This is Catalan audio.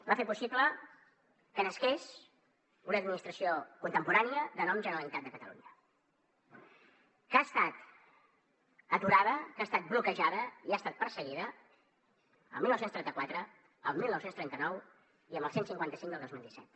va fer possible que nasqués una administració contemporània de nom generalitat de catalunya que ha estat aturada que ha estat bloquejada i ha estat perseguida el dinou trenta quatre el dinou trenta nou i amb el cent i cinquanta cinc del dos mil disset